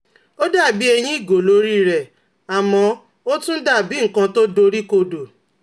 ó dà bí ẹyin ìgò l'órí rẹ̀, àmọ́ ó tún dà bí nkan tó dori kodo